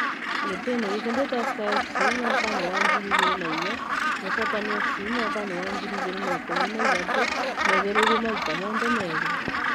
Gĩtĩ-inĩ gikĩ ndĩ Tusker FC( mwaka-inĩ wa ngiri igĩrĩ na inya) na Shaban FC mwaka-inĩ wa ngiri igĩrĩ na ikũmi na ithatũ, meheririo maita mothe merĩ